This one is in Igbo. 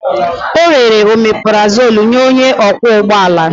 O rere omeparazolu nye onye ọkwọ ụgbọ ala.